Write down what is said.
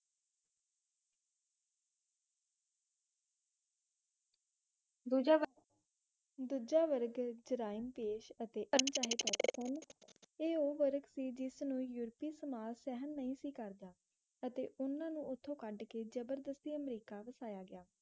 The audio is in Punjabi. ਦੂਜਾ ਵਰਗ ਜਰਾਇਮ ਪੇਸ਼ਾ ਅਤੇ ਤੇ ਉਹ ਵਰਗ ਸੀ ਜਿਸ ਨੂੰ ਯੂਰਪੀ ਸਮਾਜ ਸਹਿਣ ਨਹੀਂ ਸੀ ਕਰਦਾ ਅਤੇ ਉਨ੍ਹਾਂ ਨੂੰ ਉਥੋਂ ਕੱਢ ਕੇ ਜੱਬਰਦਸਤੀ ਅਮਰੀਕਾ ਵਸਾਯਾ ਗਿਆ